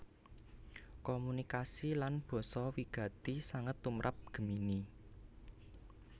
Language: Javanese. Komunikasi lan basa wigati sanget tumrap Gemini